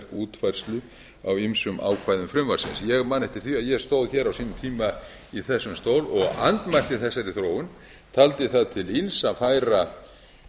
útfærslu á ýmsum ákvæðum frumvarpsins ég man eftir því að ég stóð hér á sínum tíma í þessum stól og andmælti þessari þróun taldi það til ills að